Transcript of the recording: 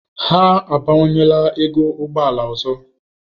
Ha abawanyela ego ụgbọ ala ọzọ.